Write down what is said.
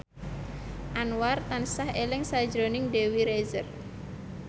Anwar tansah eling sakjroning Dewi Rezer